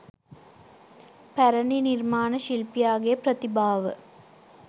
පැරැණි නිර්මාණ ශිල්පියාගේ ප්‍රතිභාව